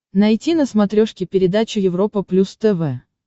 найти на смотрешке передачу европа плюс тв